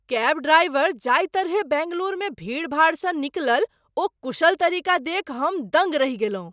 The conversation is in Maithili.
कैब ड्राइवर जाहि तरहेँ बेंगलुरुमे भीड़ भाड़सँ निकलल ओ कुशल तरीका देखि हम दङ्ग रहि गेलहुँ।